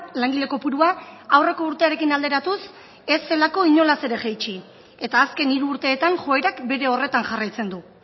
langile kopurua aurreko urtearekin alderatuz ez zelako inolaz ere jaitsi eta azken hiru urteetan joerak bere horretan jarraitzen du